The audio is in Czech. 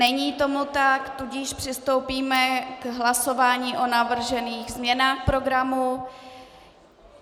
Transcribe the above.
Není tomu tak, tudíž přistoupíme k hlasování o navržených změnách programu.